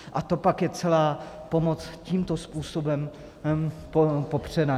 A to pak je celá pomoc tímto způsobem popřena.